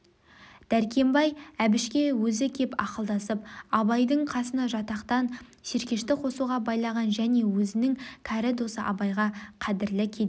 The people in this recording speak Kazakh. дәркембай әбішке өзі кеп ақылдасып абайдың қасына жатақтан серкешті қосуға байлаған және өзінің кәрі досы абайға қадірлі кедей